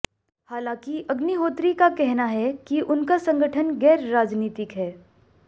हालांकि अग्निहोत्री का कहना है कि उनका संगठन गैरराजनीतिक है